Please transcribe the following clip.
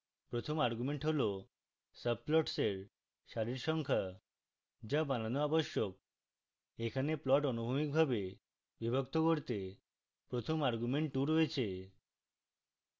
প্রথম argument হল subplots এর সারির সংখ্যা the বানানো আবশ্যক